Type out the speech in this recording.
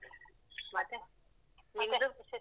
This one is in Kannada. ಮತ್ತೆ ನಿಮ್ದು ವಿಶೇಷ?